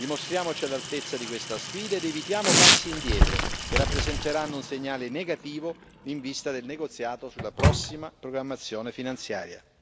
Dimostriamoci all'altezza di questa sfida ed evitiamo passi indietro, che rappresenterebbero un segnale negativo in vista del negoziato sulla prossima programmazione finanziaria.